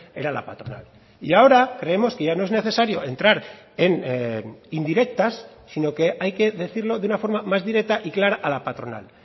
era la patronal y ahora creemos que ya no es necesario entrar en indirectas sino que hay que decirlo de una forma más directa y clara a la patronal